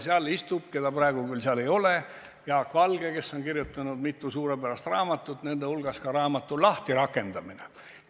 Seal istub – teda praegu seal küll ei ole – Jaak Valge, kes on kirjutanud mitu suurepärast raamatut, nende hulgas ka raamatu "Lahtirakendamine".